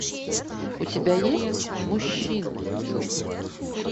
у тебя есть мужчины